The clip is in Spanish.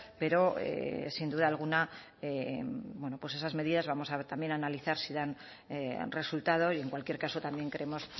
pero sin duda alguna bueno pues esas medidas vamos a también analizar si dan resultado y en cualquier caso también creemos